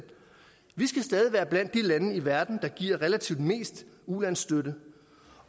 vi skal stadig være blandt de lande i verden der giver relativt mest ulandsstøtte